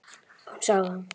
Þá sá hún það.